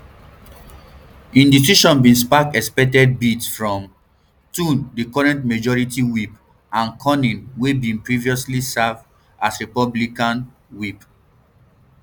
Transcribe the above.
im decision bin spark expected bids from thune di current minority whip and cornyn wey bin previously serve um as republican um whip